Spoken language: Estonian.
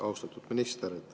Austatud minister!